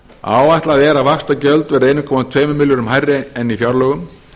áætlað er að vaxtagjöld verði einn komma tveimur milljörðum hærri en í fjárlögum